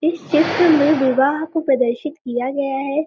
इस चित्र में विवाह को प्रदर्शित किया गया है|